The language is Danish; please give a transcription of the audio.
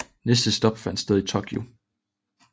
Næste stop fandt sted i Tokyo